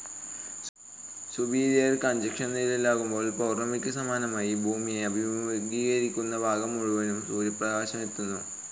Superior കൺജങ്ഷനിലാകുമ്പോൾ പൗർണ്ണമിക്ക് സമാനമായി ഭൂമിയെ അഭിമുഖീകരിക്കുന്ന ഭാഗം മുഴുവനും സൂര്യപ്രകാശമെത്തുന്നു.